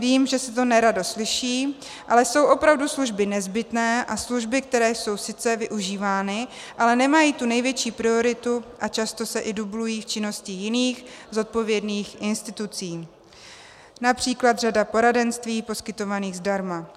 Vím, že se to nerado slyší, ale jsou opravdu služby nezbytné a služby, které jsou sice využívány, ale nemají tu největší prioritu a často se i dublují v činnosti jiných zodpovědných institucí - například řada poradenství poskytovaných zdarma.